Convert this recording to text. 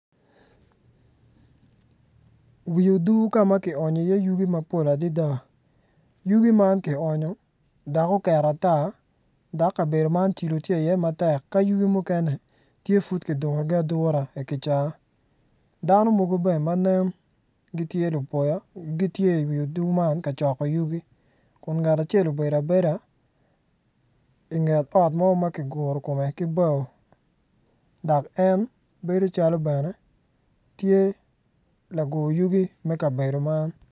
Wi odur ka ma kionyo iye yugi mapol adada yugi man kionyo dok oket ata dok kabedo man cilo tye iye matek dok yugi mukene tye pud kidurogi adura i kica madit dano mogo bene ma nen gitye lupoya.